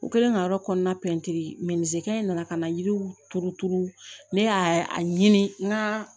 U kɛlen ka yɔrɔ kɔnɔna nana ka na yiriw turu turu ne y'a ɲini n ka